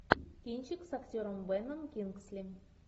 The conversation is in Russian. кинчик с актером беном кингсли